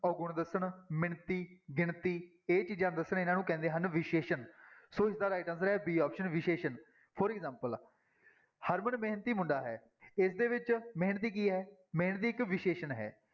ਔਗੁਣ ਦੱਸਣ, ਮਿਣਤੀ ਗਿਣਤੀ ਇਹ ਚੀਜ਼ਾਂ ਦੱਸਣ ਇਹਨਾਂ ਨੂੰ ਕਹਿੰਦੇ ਹਨ ਵਿਸ਼ੇਸ਼ਣ, ਸੋ ਇਸਦਾ right answer ਹੈ b option ਵਿਸ਼ੇਸ਼ਣ for example ਹਰਮਨ ਮਿਹਨਤੀ ਮੁੰਡਾ ਹੈ ਇਸਦੇ ਵਿੱਚ ਮਿਹਨਤੀ ਕੀ ਹੈ ਮਿਹਨਤੀ ਇੱਕ ਵਿਸ਼ੇਸ਼ਣ ਹੈ।